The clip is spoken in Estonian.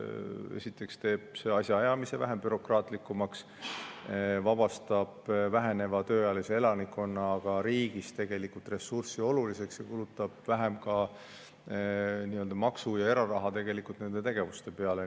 Esiteks teeb see asjaajamise vähem bürokraatlikuks, vabastab väheneva tööealise elanikkonnaga riigis ressurssi olulisema tarvis ning tegelikult kulutab nende tegevuste peale ka vähem maksu‑ ja eraraha.